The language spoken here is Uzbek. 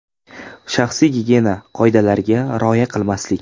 Shaxsiy gigiyena qoidalariga rioya qilmaslik .